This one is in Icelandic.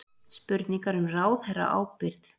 Spurningar um ráðherraábyrgð